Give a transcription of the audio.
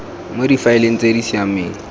mo difaeleng tse di siameng